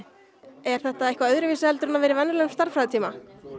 er þetta eitthvað öðruvísi en að vera í venjulegum stærðfræðitíma